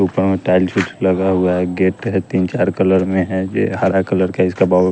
ऊपर में टाइल चुछ लगा हुआ है गेट है तीन चार कलर में है ये हरा कलर का इसका बहु --